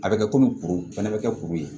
A bɛ kɛ komi kuru fana bɛ kɛ kuru ye